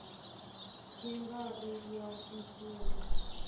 yi nga ri ya ximfumo